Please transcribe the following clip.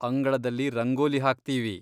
ಅಂಗಳದಲ್ಲಿ ರಂಗೋಲಿ ಹಾಕ್ತೀವಿ.